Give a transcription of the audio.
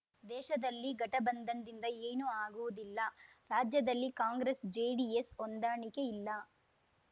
ದೇಶದಲ್ಲಿ ಘಟಬಂಧನ್‌ದಿಂದ ಏನೂ ಆಗುವುದಿಲ್ಲ ರಾಜ್ಯದಲ್ಲಿ ಕಾಂಗ್ರೆಸ್‌ಜೆಡಿಎಸ್‌ ಹೊಂದಾಣಿಕೆ ಇಲ್ಲ